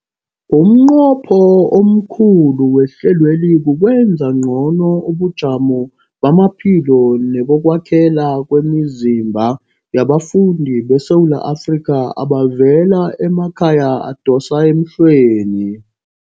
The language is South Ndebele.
Umnqopho omkhulu wehlelweli kukwenza ngcono ubujamo bamaphilo nebokwakhela kwemizimba yabafundi beSewula Afrika abavela emakhaya adosa emhlweni.